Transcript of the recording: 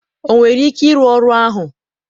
ọ nwere ike ịrụ ọrụ ahụ?